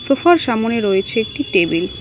সোফার সামোনে রয়েছে একটি টেবিল ।